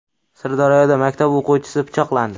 Sirdaryoda maktab o‘quvchisi pichoqlandi.